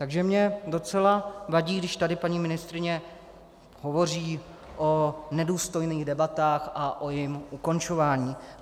Takže mě docela vadí, když tady paní ministryně hovoří o nedůstojných debatách a o jejich ukončování.